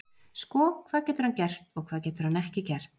Sko, hvað getur hann gert og hvað getur hann ekki gert?